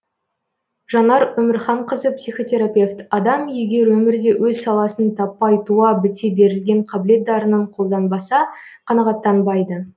жанар өмірханқызы психотерапевт адам егер өмірде өз саласын таппай туа біте берілген қабілет дарынын қолданбаса қанағаттанбайды